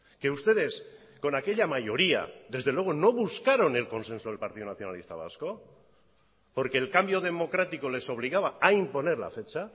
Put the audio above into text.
que ustedes con aquella mayoría desde luego no buscaron el consenso del partido nacionalista vasco porque el cambio democrático les obligaba a imponer la fecha